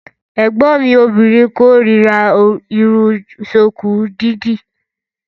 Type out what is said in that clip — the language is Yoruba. Ẹ̀gbọ́n mi obìnrin kórira Irun ṣùkú dídì.